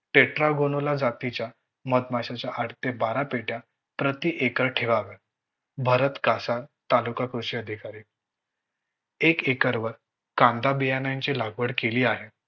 टेट्राल गोनोला जातीच्या मधमाशांच्या आठ ते बारा पेट्या प्रति एकर ठेवाव्या. भरत कासार तालुका कृषी अधिकारी एक एकर वर कांदा बियाणांची लागवड केली आहे